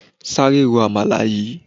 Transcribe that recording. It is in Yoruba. Sáré ro àmàlà yìí.